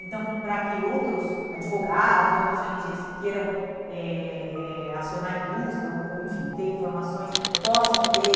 Então, para que outros advogados, outras ó ene gês que queiram eh eh acionar a indústria ou ou enfim, ter informações, possam ter.